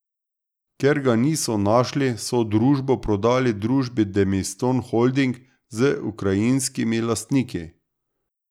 Ker ga niso našli, so družbo prodali družbi Demistone Holding z ukrajinskimi lastniki.